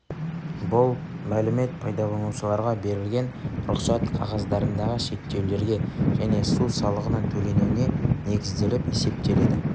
бұл мәлімет пайдаланушыларға берілген рұқсат қағаздарындағы шектеулерге және су салығының төленуіне негізделіп есептеледі